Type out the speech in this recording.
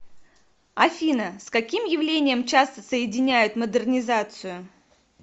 афина с каким явлением часто соединяют модернизацию